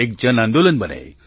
એક જનાંદોલન બને